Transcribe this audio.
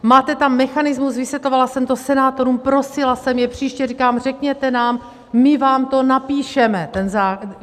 Máte tam mechanismus, vysvětlovala jsem to senátorům, prosila jsem je, příště říkám, řekněte nám, my vám to napíšeme, ten zákon.